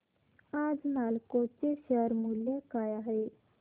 आज नालको चे शेअर मूल्य काय आहे